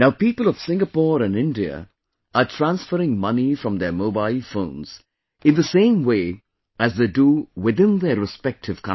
Now, people of Singapore and India are transferring money from their mobile phones in the same way as they do within their respective countries